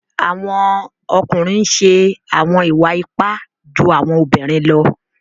Awọn ọkunrin ǹ ṣe awọn iwa-ipa ju awọn obirin lọ.